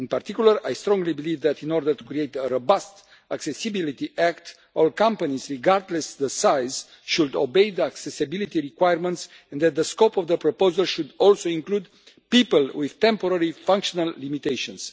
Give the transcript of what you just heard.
In particular, I strongly believe that, in order to create a robust accessibility act, all companies, regardless of size, should obey the accessibility requirements and that the scope of the proposal should also include people with temporary functional limitations.